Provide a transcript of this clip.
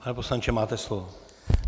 Pane poslanče, máte slovo.